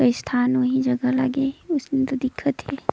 अ स्थान ओहि जगा लागे हे ओसने तो दिखा थे।